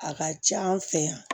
A ka ca an fɛ yan